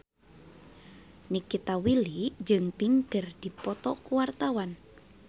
Nikita Willy jeung Pink keur dipoto ku wartawan